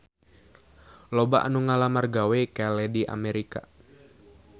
Loba anu ngalamar gawe ka Lady America